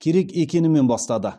керек екенімен бастады